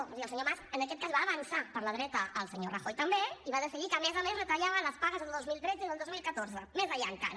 és a dir el senyor mas en aquest cas va avançar per la dreta el senyor rajoy també i va decidir que a més a més retallava les pagues del dos mil tretze i del dos mil catorze més enllà encara